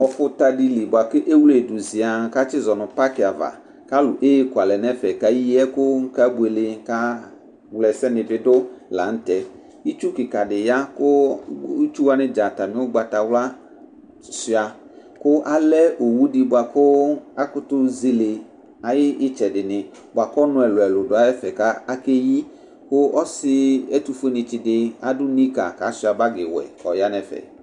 Ɔfuta di li bua ku ewle du ziaŋ ku atizɔ nu paaki ava ku alu eku alɛ nu ɛfɛ ku eyi ɛku ku ebuele kawla ɛsɛni bi du la nu tɛ itsu kika di ya ku itsu wani dza atami ugbatawla suia ku alɛ owu di bua ku akutu zele ayu itsɛdini buaku ɔnu ɛlu ɛlu du ɛfɛ ku akeyi ku ɔsi ɛtufuenitsi di adu ni ka ku asuia bagi wɛ ku ɔya nu ɛfɛ